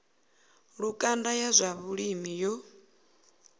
lukanda ya zwa vhulimi yo